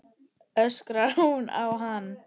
öskrar hún á hann.